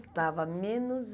Estava menos